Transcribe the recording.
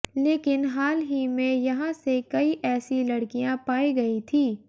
लेकिन हाल ही में यहां से कई ऐसी लड़किया पाई गई थी